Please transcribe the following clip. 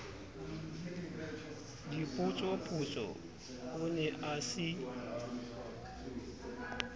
dipotsopotso o ne a se